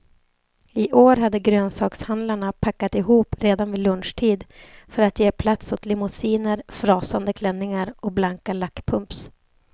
I år hade grönsakshandlarna packat ihop redan vid lunchtid för att ge plats åt limousiner, frasande klänningar och blanka lackpumps.